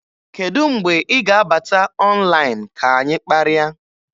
Kedụ mgbe ị ga-abata ọnlaịn ka anyị kparịa?